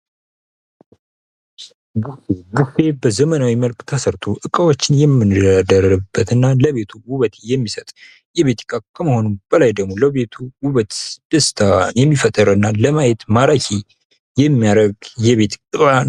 ቡፌ ቡፌ በዘመናዊ መልክ ተሰርቶ እቃዎችን የምንደረድርበት እና ለቤቱ ውበት የሚሰጥ የቤት ዕቃ ከመሆኑ በላይ ደግሞ ለቤቱ ዉበት ደስታ የሚፈጥርና ለማየት ማራኪ የሚያደርግ የቤት ሮያን ::